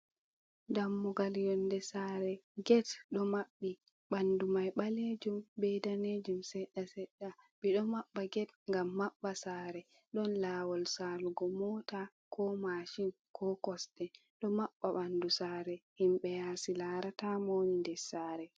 Dammugal yonde sare. Get ɗo mabbi, bandu mai ɓalejum be danejum seda sedda. Ɓedo mabba ged gam mabba sare, don lawol salugo mota ko mashin, ko kosde. Ɗo mabba bandu sare, himbe yasi larata mowoni nder sare.